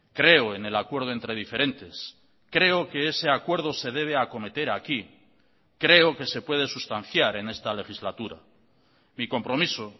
creo en el acuerdo entre diferentes creo que ese acuerdo se debe acometer aquí creo que se puede sustanciar en esta legislatura mi compromiso